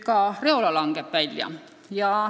Ka Reola langeb ära.